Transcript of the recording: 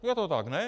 Je to tak, ne?